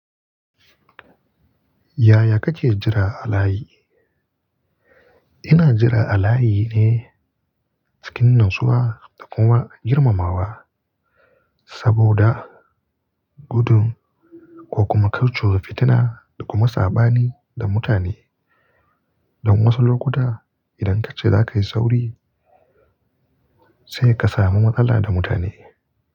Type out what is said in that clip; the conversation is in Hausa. Yaya kake jira a layi? Ina jira a layi ne cikin natsuwa da kuma girmamawa, saboda gudun ko kuma ka cuci fitina da kuma saɓani da mutane. Dan wasu lokuta idan kace zaka yi sauri sai ka samu matsala da mutane.